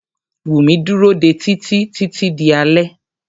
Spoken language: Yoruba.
Wùmí dúró dé Títí títí di alé.